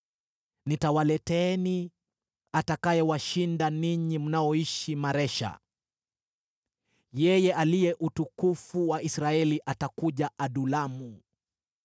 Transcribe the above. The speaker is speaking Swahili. Nitawaleteeni atakayewashinda ninyi mnaoishi Maresha. Yeye aliye utukufu wa Israeli atakuja Adulamu.